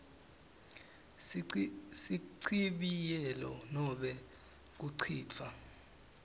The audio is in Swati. sichibiyelo nobe kucitfwa